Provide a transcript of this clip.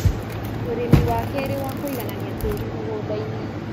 ũrĩmi wa kerĩ wa kũiganania tĩri mũgũndainĩ